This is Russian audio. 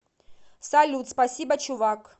салют спасибо чувак